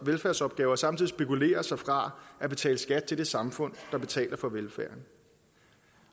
velfærdsopgaver og samtidig spekulere sig fra at betale skat til det samfund der betaler for velfærden